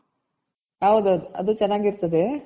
ಹೌದೌದ್ ಅದು ಚೆನಾಗಿರ್ತದೆ